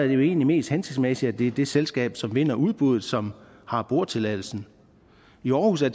jo egentlig mest hensigtsmæssigt at det er det selskab som vinder udbuddet som har boretilladelsen i aarhus er